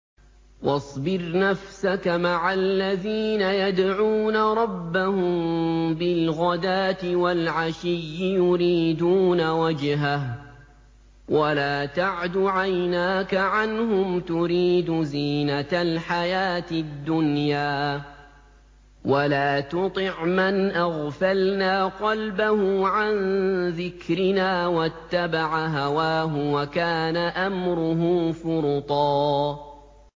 وَاصْبِرْ نَفْسَكَ مَعَ الَّذِينَ يَدْعُونَ رَبَّهُم بِالْغَدَاةِ وَالْعَشِيِّ يُرِيدُونَ وَجْهَهُ ۖ وَلَا تَعْدُ عَيْنَاكَ عَنْهُمْ تُرِيدُ زِينَةَ الْحَيَاةِ الدُّنْيَا ۖ وَلَا تُطِعْ مَنْ أَغْفَلْنَا قَلْبَهُ عَن ذِكْرِنَا وَاتَّبَعَ هَوَاهُ وَكَانَ أَمْرُهُ فُرُطًا